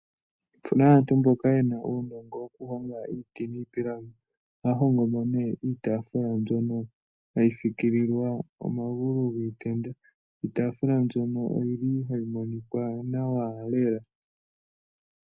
Opuna aantu mboka yena uunongo wokuhonga iiti niipilangi, ohaya hongo mo ne iitaafula mbyono hayi fikililwa omagulu giitenda, iitafula mbyono oyili hayi monikwa nawa lela.